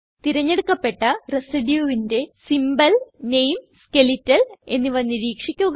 തിരഞ്ഞെടുക്കപ്പെട്ട residueന്റെ സിംബോൾ നാമെ സ്കെലറ്റൽ എന്നിവ നിരീക്ഷിക്കുക